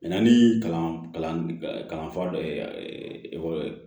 ni kalanfa dɔ ye ekɔli ye